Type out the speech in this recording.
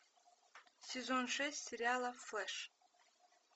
сезон шесть сериала флеш